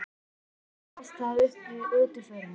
Presturinn las það upp við útförina.